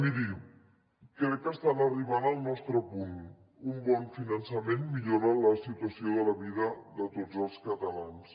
miri crec que estan arribant al nostre punt un bon finançament millora la situació de la vida de tots els catalans